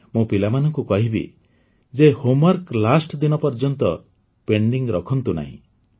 ମୁଁ ପିଲାମାନଙ୍କୁ କହିବି ଯେ ହୋମୱର୍କ ଲାଷ୍ଟ ଦିନ ପର୍ଯ୍ୟନ୍ତ ପେଣ୍ଡିଂ ରଖନ୍ତୁ ନାହିଁ